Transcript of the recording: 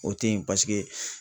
O te yen paseke